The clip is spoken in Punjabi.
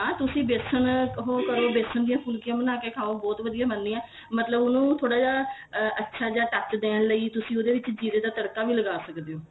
ਹਾਂ ਤੁਸੀਂ ਬੇਸਣ ਉਹ ਕਰੋ ਬੇਸਣ ਦੀਆਂ ਫੁਲਕੀਆਂ ਬਣ ਕੇ ਖਾਉਬਹੁਤ ਵਧੀਆ ਬਣਦੀਆਂ ਮਤਲਬ ਉਹਨੂੰ ਥੋੜਾ ਜਾ ਅਹ ਅੱਛਾ ਜਾ touch ਦੇਣ ਲਈ ਤੁਸੀਂ ਉਹਦੇ ਵਿੱਚ ਜ਼ੀਰੇ ਦਾ ਤੜਕਾ ਵੀ ਲਗਾ ਸਕਦੇ ਆ